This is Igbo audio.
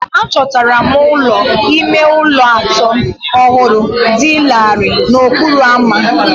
Achọtara m ụlọ ime ụlọ atọ ọhụrụ dị larịị n'okporo ámá